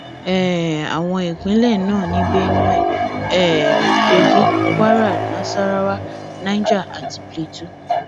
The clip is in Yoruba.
um àwọn ìpínlẹ náà ni benue um kogi kwara nasarawa niger àti plateau